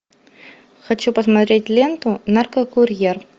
хочу посмотреть ленту наркокурьер